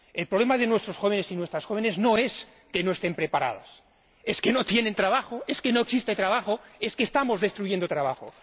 El problema de nuestros jóvenes y nuestras jóvenes no es que no estén preparados, es que no tienen trabajo, es que no existe trabajo, es que estamos destruyendo trabajo.